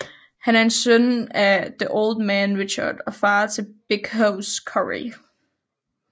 Han er søn af The Old Man Richard og far til Big Hoss Corey